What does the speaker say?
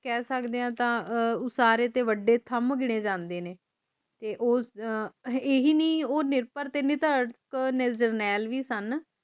ਕਹਿ ਸਕਦੇ ਹਾਂ ਤਾ ਉਸਾਰੇ ਤੇ ਵਡੇ thumb ਗਿਣੇ ਜਾਂਦੇ ਨੇ ਤੇ ਇਹੀ ਨੀ ਉਹ ਜਰਨੈਲ ਵੀ ਸਨ